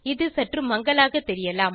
இது சற்று மங்கலாக தெரியலாம்